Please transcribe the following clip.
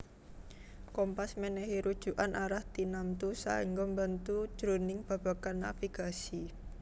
Kompas mènèhi rujukan arah tinamtu saéngga mbantu jroning babagan navigasi